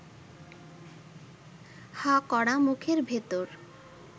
হাঁ করা মুখের ভেতর